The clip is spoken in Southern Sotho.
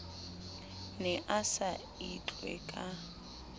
ne a sa itlwe ka